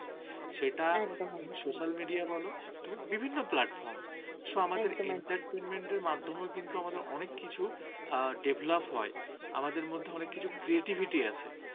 entertainment মাধ্যমে কিন্তু অনেক কিছু develop হয়। আমাদের মধ্যে অনেক কিছু creativity আছে